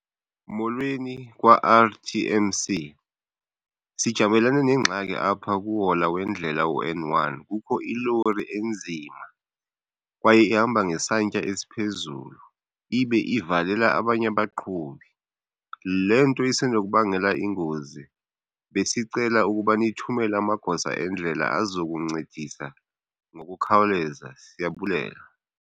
Molweni kwa-R_T_M_C. Sijamelene nengxaki apha kuhola wendlela u-N one, kukho ilori enzima kwaye ihamba ngesantya esiphezulu ibe ivalela abanye abaqhubi. Le nto isenokubangela ingozi besicela ukuba nithumele amagosa endlela azokuncedisa ngokukhawuleza. Siyabulela.